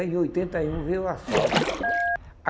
Aí, em oitenta e um, veio o asfalto.